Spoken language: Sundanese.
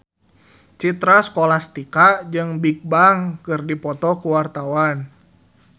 Citra Scholastika jeung Bigbang keur dipoto ku wartawan